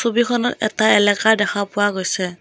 ছবিখনত এটা এলেকা দেখা পোৱা গৈছে।